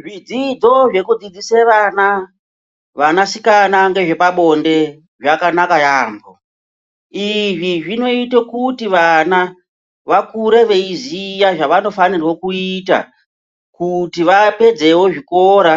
Zvidzidzo zvekudzidzise vana vanasikana ngezvepabonde zvakanaka yambo izvi zvinoite kuti vana vakure veiziya zvavanofanirwa kuita kuti vapedzewo zvikora,